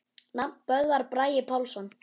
Nafn: Böðvar Bragi Pálsson